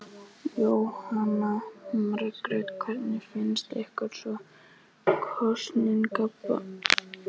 Jóhanna Margrét: Hvernig finnst ykkur svona kosningabaráttan hafa verið?